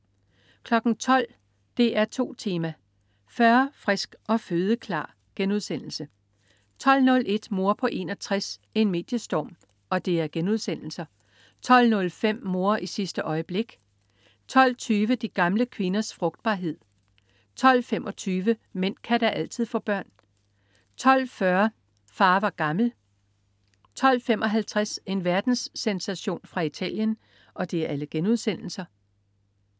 12.00 DR2 Tema: 40, frisk og fødeklar* 12.01 Mor på 61: En mediestorm* 12.05 Mor i sidste øjeblik* 12.20 De gamle kvinders frugtbarhed* 12.25 Mænd kan da altid få børn* 12.40 Far var gammel* 12.55 En verdenssensation fra Italien*